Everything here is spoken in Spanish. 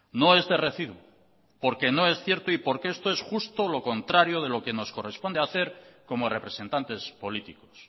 no es de recibo porque no es cierto y porque esto es justo lo contrario de lo que nos corresponde hacer como representantes políticos